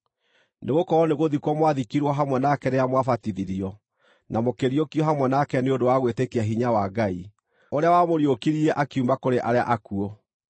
Nĩgũkorwo nĩgũthikwo mwathikirwo hamwe nake rĩrĩa mwabatithirio, na mũkĩriũkio hamwe nake nĩ ũndũ wa gwĩtĩkia hinya wa Ngai, ũrĩa wamũriũkirie akiuma kũrĩ arĩa akuũ.